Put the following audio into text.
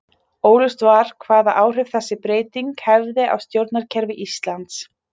Óljóst var hvaða áhrif þessi breyting hefði á stjórnkerfi Íslands.